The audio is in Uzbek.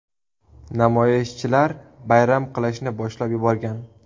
Namoyishchilar bayram qilishni boshlab yuborgan.